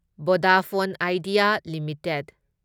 Vodafone Idea limited